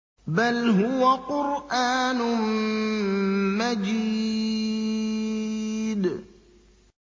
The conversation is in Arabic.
بَلْ هُوَ قُرْآنٌ مَّجِيدٌ